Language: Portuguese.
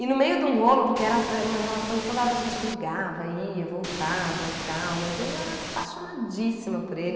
E no meio de um rolo, porque era era uma relação que toda hora a gente brigava, ia, voltava e tal, mas eu era apaixonadíssima por ele.